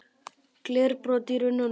Glerbrotin í runnunum.